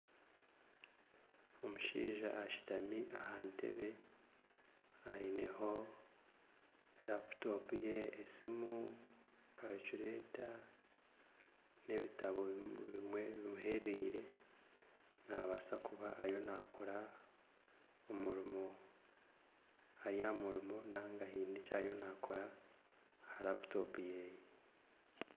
Omushaija ashutami aha ntebe aineho laputopu ye esimu kariculeta n'ebitabo bimwe bimuhereire naabaasa kuba ariyo nakora omurimo Ari aha murimo nari aine eki ariyo naakora aha laputopu ye